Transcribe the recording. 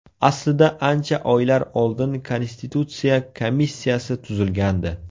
Aslida ancha oylar oldin Konstitutsiya komissiyasi tuzilgandi.